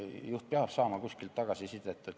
Juht peab kuskilt tagasisidet saama.